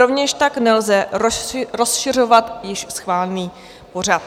Rovněž tak nelze rozšiřovat již schválený pořad.